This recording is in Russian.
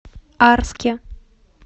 арске